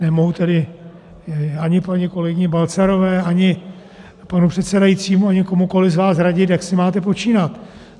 Nemohu tedy ani paní kolegyni Balcarové, ani panu předsedajícímu, ani komukoliv z vás radit, jak si máte počínat.